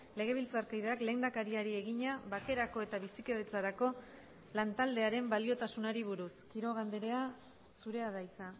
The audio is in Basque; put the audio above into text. legebiltzarkideak lehendakariari egina bakerako eta bizikidetzarako lantaldearen baliotasunari buruz quiroga andrea zurea da hitza